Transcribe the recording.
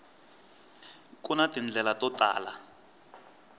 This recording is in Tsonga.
ku na tindlela to tala